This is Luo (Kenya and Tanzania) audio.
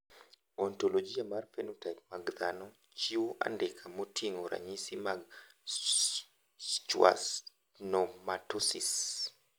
Ontologia mar phenotype mag dhano ochiwo andika moting`o ranyisi mag Schwannomatosis.